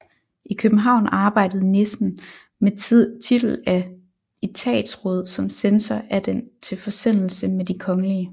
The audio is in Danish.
I København arbejdede Nissen med titel af etatsråd som censor af Den til Forsendelse med de kgl